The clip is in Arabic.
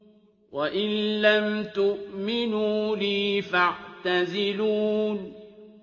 وَإِن لَّمْ تُؤْمِنُوا لِي فَاعْتَزِلُونِ